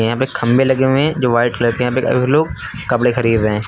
यहां पे खंबे लगे हुए हैं जो वाइट कलर के हैं। यहां पे काफी लोग कपड़े खरीद रहे हैं।